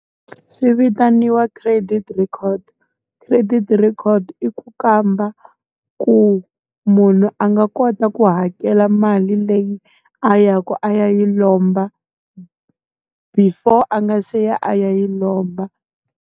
Swi vitaniwa credit record. Credit record i ku kamba, ku munhu a nga kota ku hakela mali leyi a ya ku a yi lomba. Before a nga se ya a ya yi lomba.